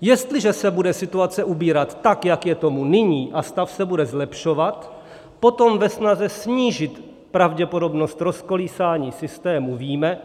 Jestliže se bude situace ubírat tak, jak je tomu nyní, a stav se bude zlepšovat, potom ve snaze snížit pravděpodobnost rozkolísání systému víme,